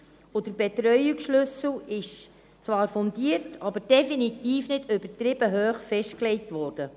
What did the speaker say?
Der Betreuungsschlüssel ist zwar fundiert, aber definitiv übertrieben hoch festgelegt worden.